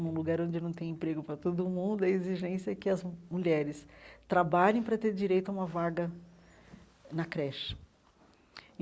Num lugar onde não tem emprego para todo mundo, a exigência é que as mulheres trabalhem para ter direito a uma vaga na creche.